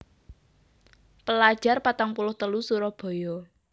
Pelajar patang puluh telu Surabaya